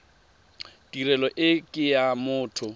tirelo e ke ya motho